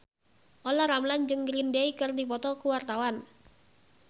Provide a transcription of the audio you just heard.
Olla Ramlan jeung Green Day keur dipoto ku wartawan